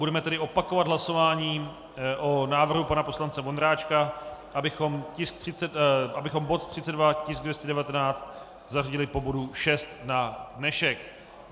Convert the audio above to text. Budeme tedy opakovat hlasování o návrhu pana poslance Vondráčka, abychom bod 32, tisk 219, zařadili po bodu 6 na dnešek.